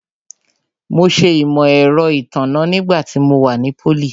Mo ṣe Imọ-ẹrọ itanna nígbà tí mo wà ní pólì